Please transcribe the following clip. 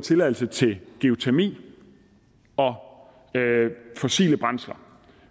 tilladelse til geotermi og fossile brændsler